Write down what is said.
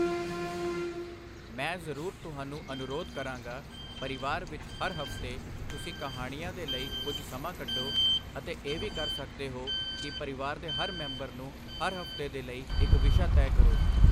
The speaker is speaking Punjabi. ਮੈਂ ਜ਼ਰੂਰ ਤੁਹਾਨੂੰ ਅਨੁਰੋਧ ਕਰਾਂਗਾ, ਪਰਿਵਾਰ ਵਿੱਚ ਹਰ ਹਫ਼ਤੇ ਤੁਸੀਂ ਕਹਾਣੀਆਂ ਦੇ ਲਈ ਕੁਝ ਸਮਾਂ ਕੱਢੋ ਅਤੇ ਇਹ ਵੀ ਕਰ ਸਕਦੇ ਹੋ ਕਿ ਪਰਿਵਾਰ ਦੇ ਹਰ ਮੈਂਬਰ ਨੂੰ, ਹਰ ਹਫ਼ਤੇ ਦੇ ਲਈ ਇੱਕ ਵਿਸ਼ਾ ਤੈਅ ਕਰੋ।